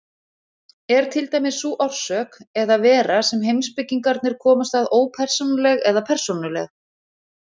Er til dæmis sú orsök eða vera sem heimspekingarnir komast að ópersónuleg eða persónuleg?